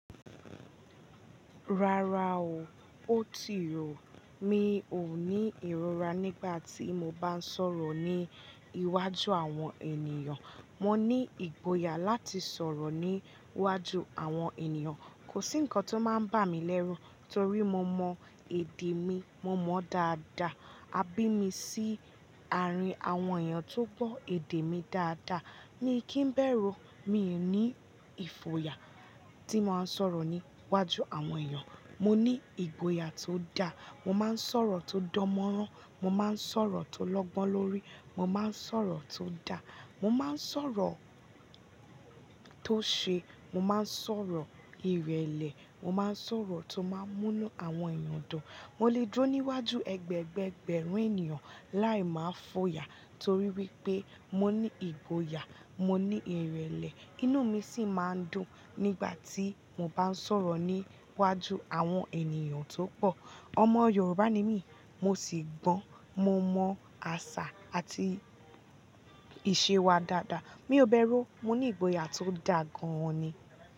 Rárá o, ó ti rò. Mi ò ní ìrora nígbà tí mo bá ń sọ̀rọ̀ ní iwájú àwọn ènìyàn. Mo ní ìgboyà láti sọ̀rọ̀ ní iwájú àwọn ènìyàn. Kò sí ǹkan tó máa ń bà mí lẹ́run torí mo mọ èdè mi, mo mọ ó dáadáa. A bí mi sí àárín àwọn èèyàn tó gbọ èdè mi dáadáa. Mií kì í bẹ́rù, mi ò ní ìfòyà tí mbá ń sọ̀rọ̀ ní iwájú àwọn èèyàn. Mo ní ìgboyà tó da. Mo máa ń sọ̀rọ̀ tó dánmọ́nrán, mo máa ń sọ̀rọ̀ tó lọ́gbọ́n lórí, mo máa ń sọ̀rọ̀ tó da, mo máa ń sọ̀rọ̀ tó ṣe, mo máa ń sọ̀rọ̀ ìrẹ̀lẹ̀, mo máa ń sọ̀rọ̀ tó máa ń mú àwọn èèyàn dùn. Mo lè dró níwájú ẹgbẹẹgbẹ́ẹgbẹ̀rún ènìyàn láì máa fòyà torí wípé mo ní ìgboyà, mo ní ìrẹ̀lẹ̀, inú mi sì máa ń dùn nígbà tí mo bá ń sọ̀rọ̀ ní iwájú àwọn ènìyàn tó pọ̀. Ọmọ Yorùbá ni mí, mo sì gbọ́n, mo mọ àṣà àti ìṣe wa dáadáa. Mi ò bẹ́rù o, mo ní ìgboyà tó da gan-an ni.